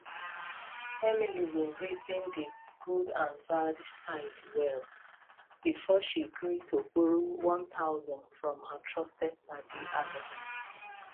emily bin reason di good and bad side well before she gree borrow 1000 from her trusted padi alex